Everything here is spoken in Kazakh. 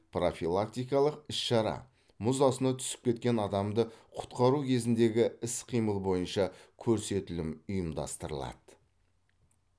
профилактикалық іс шара мұз астына түсіп кеткен адамды құтқару кезіндегі іс қимыл бойынша көрсетілім ұйымдастырылады